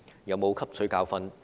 有否汲取教訓？